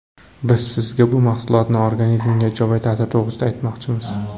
Biz sizga bu mahsulotning organizmga ijobiy ta’siri to‘g‘risida aytmoqchimiz.